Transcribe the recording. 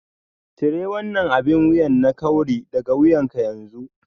Cire wannan abin wuya na kawry daga wuyanka yanzu